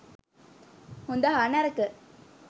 'හොඳ' හා 'නරක